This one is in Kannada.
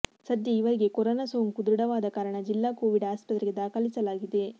ಸದ್ಯ ಇವರಿಗೆ ಕೊರೋನ ಸೋಂಕು ದೃಢವಾದ ಕಾರಣ ಜಿಲ್ಲಾ ಕೋವಿಡ್ ಆಸ್ಪತ್ರೆಗೆ ದಾಖಲಿಸಲಾಗಿದೆ